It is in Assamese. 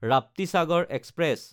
ৰাপ্তিচাগাৰ এক্সপ্ৰেছ